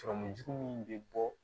Sɔrɔmu jugu min bɛ bɔ